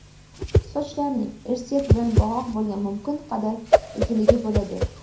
Sochlarning irsiyat bilan bog‘liq bo‘lgan mumkin qadar uzunligi bo‘ladi.